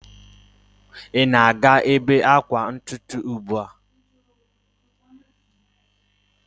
Ị na-aga ebe akwa ntutu ugbu a?